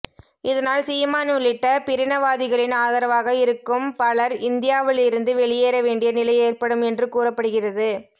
இதனால் சீமான் உள்ளிட்ட பிரினவாதிகளின் ஆதரவாக இருக்கும் பலர் இந்தியாவிலிருந்து வெளியேற வேண்டிய நிலை ஏற்படும் என்று கூறப்படுகிறது